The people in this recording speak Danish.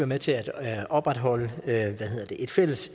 med til at opretholde et fælles